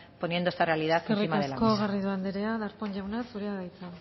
poniendo esta realidad encima de la mesa eskerrik asko garrido andrea darpón jauna zurea da hitza